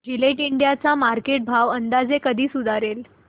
Gillette India चा market भाव अंदाजे कधी सुधारेल